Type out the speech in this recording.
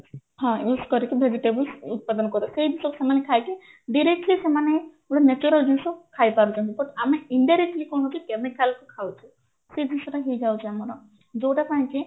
ହଁ use କରିକି vegetables ଉତ୍ପାଦନ ସେଇ ଜିନିଷ ସେମାନେ ଖାଇକି directly ସେମାନେ ଗୋଟେ natural ଜିନିଷ ଖାଇପାରୁଛନ୍ତି but ଆମେ indirectly କଣ କରୁଛେ chemical କୁ ଖାଉଛେ ସେଇ ଜିନିଷଟା ହେଇଯାଉଛି ଆମର ଯୋଉଟା ପାଇଁ କି